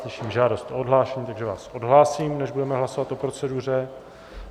Slyším žádost o odhlášení, takže vás odhlásím než, budeme hlasovat o proceduře.